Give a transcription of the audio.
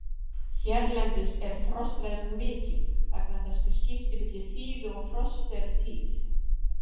Hérlendis er frostveðrun mikil vegna þess hve skipti milli þíðu og frosts eru tíð.